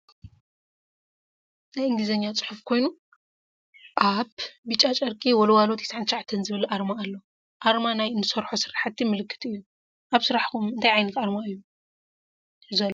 ናይ እንግሊዘኛ ፅሑፍ ኮይኑ ኣብ ብጫ ጨርቂ ዎልዋሎ 99 ዝበል ኣርማ ኣሎ። ኣርማ ናይ እንሰርሖ ስራሕቲ ምልክት እዮ። ኣብ ስራሕኩም እንታይ ዓይነት ኣርማ ኣሎ ?